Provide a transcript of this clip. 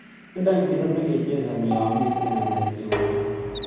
Tyendo ngiro negichesani eng yamiten ngalek chewien